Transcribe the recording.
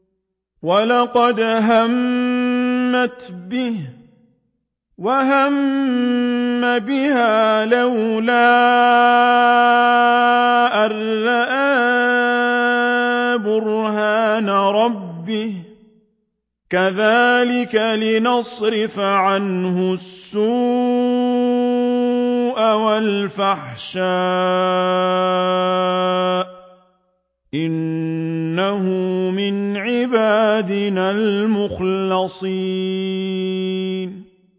وَلَقَدْ هَمَّتْ بِهِ ۖ وَهَمَّ بِهَا لَوْلَا أَن رَّأَىٰ بُرْهَانَ رَبِّهِ ۚ كَذَٰلِكَ لِنَصْرِفَ عَنْهُ السُّوءَ وَالْفَحْشَاءَ ۚ إِنَّهُ مِنْ عِبَادِنَا الْمُخْلَصِينَ